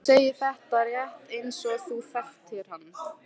Þú segir þetta rétt eins og þú þekktir hann.